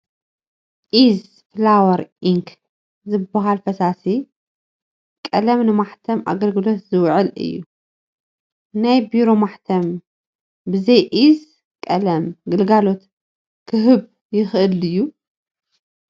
ኢዝ ፋላወር ኢንክ ዝበሃል ፈሳሲ ቀለም ንማሕተም ኣገልግሎት ዝውዕል እዩ፡፡ ናይ ቢሮ ማሕተም ብዘይ እዚ ቀለም ግልጋሎት ክህብ ይኽእል ድዩ?